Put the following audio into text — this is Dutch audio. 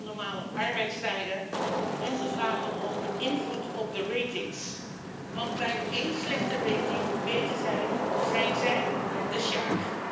Ze vragen om normale arbeidstijden en ze vragen om invloed op de ratings want bij één slechte rating weten zij zijn zij de sjaak.